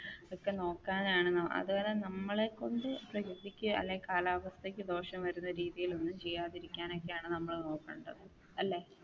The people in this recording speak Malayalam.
ഒക്കെ നോക്കാനാണ് അതുപോലെ നമ്മളെ കൊണ്ട് പ്രകൃതിക്ക് അല്ലെങ്കിൽ കാലാവസ്ഥക്ക് ദോഷം വരുന്ന രീതിയിൽ ഒന്നും ചെയ്യാതെ ഇരിക്കാനൊക്കെയാണ് നമ്മൾ നോക്കേണ്ടത് അല്ലെ?